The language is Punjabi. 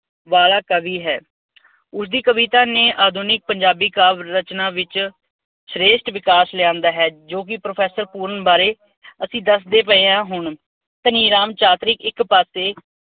ਵਾਲਾ ਕਵੀ ਹੈ। ਉਸਦੀ ਕਵਿਤਾ ਨੇ ਆਧੁਨਿਕ ਪੰਜਾਬੀ ਕਾਵਿ ਰਚਨਾ ਵਿੱਚ ਸ੍ਰੇਸ਼ਠ ਵਿਕਾਸ ਲਿਆਂਦਾ ਹੈ। ਜੋ ਕਿ ਪ੍ਰਫੈਸਰ ਪੂਰਨ ਬਾਰੇ ਅਸੀਂ ਦੱਸਦੇ ਪਏ ਹਾਂ, ਹੁਣ, ਧਨੀ ਰਾਮ ਚਾਤ੍ਰਿਕ ਇੱਕ ਪਾਸੇ